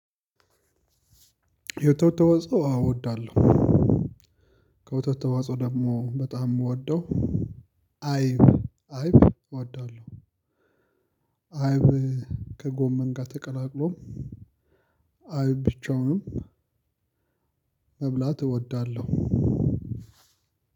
የወተት ተዋጽኦ አዎ እወዳለሁ። ከወተት ተዋጽኦ ደግሞ በጣም ምወደው። አይብ አይብ እወዳለሁ። አይብ ከጎመን ጋር ተቀላቅሎ አይብ ብቻውንም። መብላት እወዳለሁ